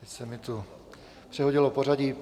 Teď se mi tu přehodilo pořadí.